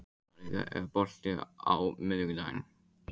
Malika, er bolti á miðvikudaginn?